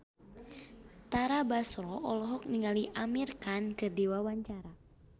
Tara Basro olohok ningali Amir Khan keur diwawancara